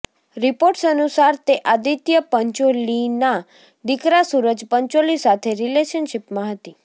reports અનુસાર તે આદિત્ય પંચોલીના દીકરા સૂરજ પંચોલી સાથે રિલેશનશિપમાં હતી